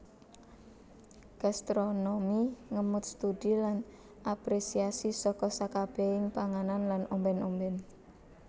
Gastronomi ngemot studi lan apresiasi saka sekabehing panganan lan ombèn ombèn